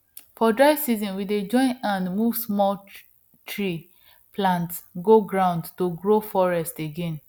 for dry season we dey join hand move small tree plants go ground to grow forest again